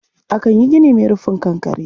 Akan yi gini mai rufin kankare.